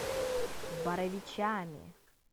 боровичами